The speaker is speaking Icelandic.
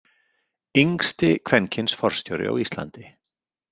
Yngsti kvenkyns forstjóri á Íslandi.